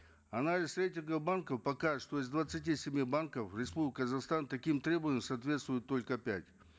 анализ рейтинга банков покажет что из двадцати семи банков в республике казахстан таким требованиям соответствуют только пять